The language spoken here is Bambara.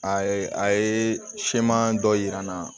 A ye a ye siman dɔ yir'an na